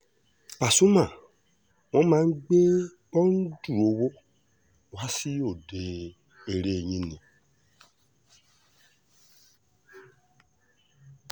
pasumà wọn máa ń gbé bọ́ǹdù owó wa sí òde eré yín ni